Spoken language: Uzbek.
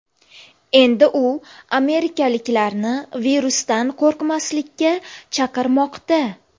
Endi u amerikaliklarni virusdan qo‘rqmaslikka chaqirmoqda .